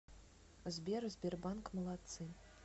сбер сбербанк молодцы